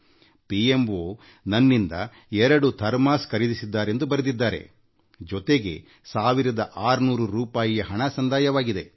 ಅವರು ಪ್ರಧಾನ ಮಂತ್ರಿಯವರ ಕಾರ್ಯಾಲಯ ತಮ್ಮಿಂದ ಎರಡು ಥರ್ಮಾಸ್ ಖರೀದಿಸಿದ್ದಾರೆಂದು ಬರೆಯುತ್ತಾರೆ ಜೊತೆಗೆ 16೦೦ರೂಪಾಯಿಯ ಹಣ ಅವರಿಗೆ ಸಂದಾಯವಾಗಿದೆ